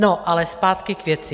No, ale zpátky k věci.